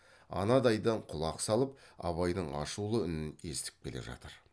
анадайдан құлақ салып абайдың ашулы үнін естіп келе жатыр